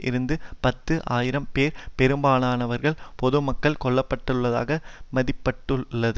இருந்து பத்து ஆயிரம் பேர் பெரும்பாலானவர்கள் பொதுமக்கள் கொல்ல பட்டுள்ளதாக மதிப்பட்டுள்ளது